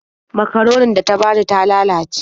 Makaronin da ta bani ta lalace.